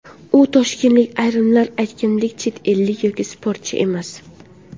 U toshkentlik, ayrimlar aytganidek chet ellik yoki sportchi emas.